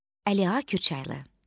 Əli Kürçaylı.